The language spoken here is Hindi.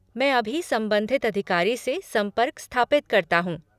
मैं अभी संबंधित अधिकारी से संपर्क स्थापित करता हूँ।